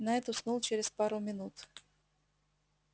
найд уснул через пару минут